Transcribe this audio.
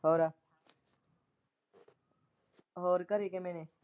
ਹੋਰ ਹੋਰ ਘਰੇ ਕੀਮੇ ਨੇ।